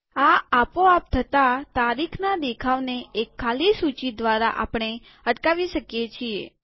આ આપો આપ થતા તારીખના દેખાવને એક ખાલી સૂચી દ્વારા આપણે અટકાવી શકીએ છીએ